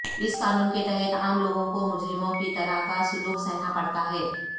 اس قانون کے تحت عام لوگوں کو مجرموں کی طرح کا سلوک سہنا پرتا ہے